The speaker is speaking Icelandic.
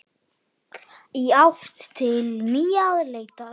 Í átt til nýrrar leitar.